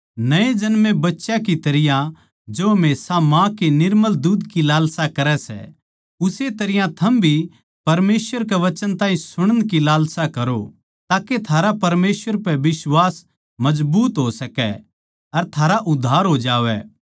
नये जन्मे बच्चें की तरियां जो हमेशा माँ के दुध की लालसा करै सै उस्से तरियां थम भी परमेसवर के वचन ताहीं सुणण की लालसा करो ताके थारा परमेसवर पै बिश्वास मजबूत हो सकै अर थारा उद्धार हो जावै